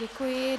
Děkuji.